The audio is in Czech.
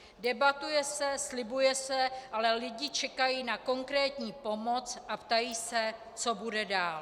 Debatuje se, slibuje se, ale lidi čekají na konkrétní pomoc a ptají se, co bude dál.